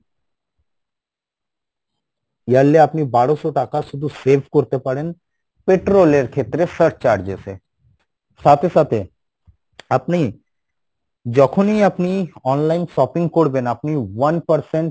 yearly আপনি বারোসো টাকা শুধু save করতে পারেন petrol এর ক্ষেত্রে search charges এ সাথে সাথে আপনি যখনই আপনি online shopping করবেন আপনি one percent